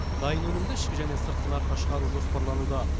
дайын өнімді ішкі және сыртқы нарыққа шығару жоспарлануда